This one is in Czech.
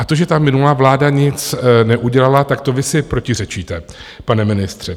A to, že ta minulá vláda nic neudělala, tak to vy si protiřečíte, pane ministře.